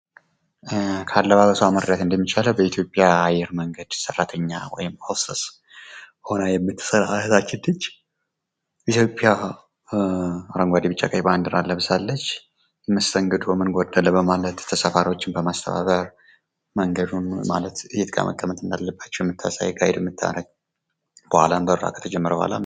ካለባበሷ መረዳት እንደሚቻለው በኢትዮጵያ አየር መንገድ ሠራተኛ ወይም ሆስተስ ሆና የምትስራ እህታችን ናች። ኢትዮጵያ አረንጓዴ፣ ቢጫ፣ ቀይ ባንዲራን ለብሳለች ። መስተንግዶ ምን ጎደለ በማለት ተሳፋሪዎችን በማስተባበር መንገዱን ማለት የት ጋር መቀመጥ አንዳለባቸው የምታሳይ የምታደርግ በኋላም በረራ ከተጀመረ በኋላም ...